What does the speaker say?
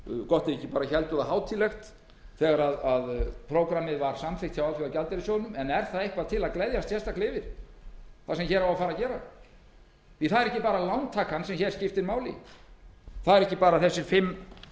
gott ef þeir héldu það ekki hátíðlegt þegar prógrammið var samþykkt hjá alþjóðagjaldeyrissjóðnum en er það eitthvað til að gleðjast sérstaklega yfir það sem hér á að fara að gera það er ekki bara lántakan sem hér skiptir máli það eru ekki bara þessir fimm